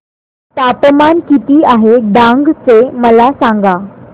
तापमान किती आहे डांग चे मला सांगा